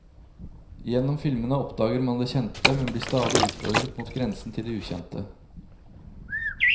Gjennom filmene oppdager man det kjente, men blir stadig utfordret mot grenser til det ukjente.